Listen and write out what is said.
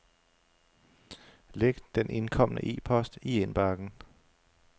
Læg den indkomne e-post i indbakken.